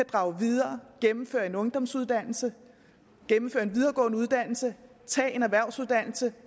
drage videre gennemføre en ungdomsuddannelse gennemføre en videregående uddannelse tage en erhvervsuddannelse